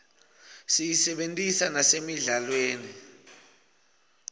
siyisebentisa nasemidlalweni